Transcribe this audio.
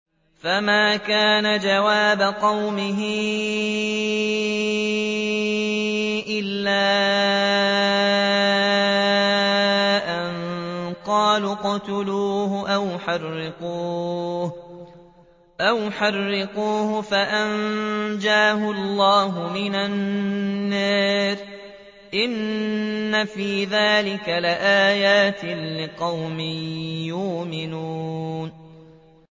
فَمَا كَانَ جَوَابَ قَوْمِهِ إِلَّا أَن قَالُوا اقْتُلُوهُ أَوْ حَرِّقُوهُ فَأَنجَاهُ اللَّهُ مِنَ النَّارِ ۚ إِنَّ فِي ذَٰلِكَ لَآيَاتٍ لِّقَوْمٍ يُؤْمِنُونَ